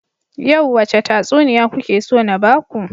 Yau wace tatsuniya kuke so na baku?